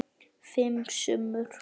Fimm sumur